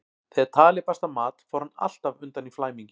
Þegar talið barst að mat fór hann alltaf undan í flæmingi.